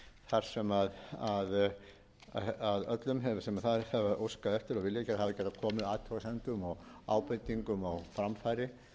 þar sem öllum sem þess hafa óskað eftir og viljað hafa getað komið athugasemdum og ábendingum á framfæri